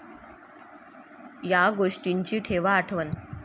या गोष्टींची ठेवा आठवण